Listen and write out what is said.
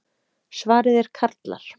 Svarið er karlar.